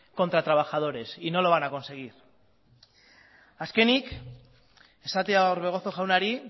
contra trabajadores y no lo van a conseguir azkenik esatea orbegozo jaunari